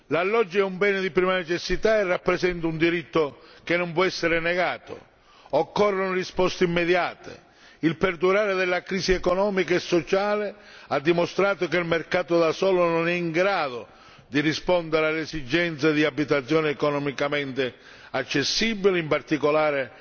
L'alloggio è un bene di prima necessità e rappresenta un diritto che non può essere negato occorrono risposte immediate, il perdurare della crisi economica e sociale ha dimostrato che il mercato da solo non è in grado di rispondere all'esigenza di abitazione economicamente accessibile, in particolare